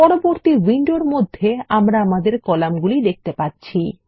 পরবর্তী উইন্ডোর মধ্যে আমরা আমাদের কলামগুলি দেখতে পাচ্ছি